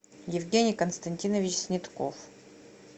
евгений константинович снетков